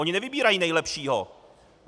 Oni nevybírají nejlepšího.